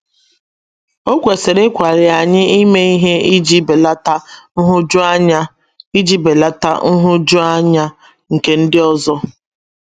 O kwesịrị ịkwali anyị ime ihe iji belata nhụjuanya iji belata nhụjuanya nke ndị ọzọ.